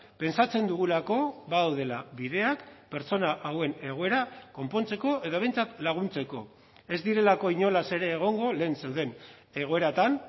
pentsatzen dugulako badaudela bideak pertsona hauen egoera konpontzeko edo behintzat laguntzeko ez direlako inolaz ere egongo lehen zeuden egoeratan